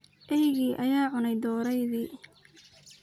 Ceyki aya cuney dooreydhi.